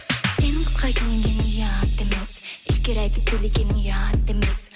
сенің қысқа киінгенің ұят емес әшкере айтып билегенің ұят емес